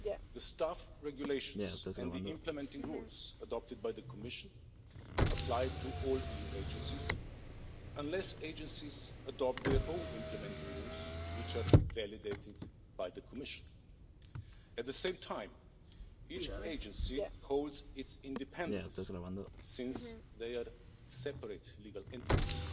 The Staff Regulations and the implementing rules adopted by the Commission apply to all EU agencies, unless agencies adopt their own implementing rules which are validated by the Commission. At the same time, each agency holds its independence, since they are separate legal entities.